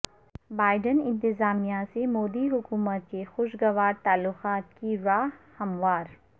Biden انتظامیہ سے مودی حکومت کے خوشگوار تعلقات کی راہ ہموار